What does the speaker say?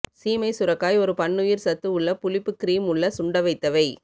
சீமை சுரைக்காய் ஒரு பன்னுயிர் சத்து உள்ள புளிப்பு கிரீம் உள்ள சுண்டவைத்தவை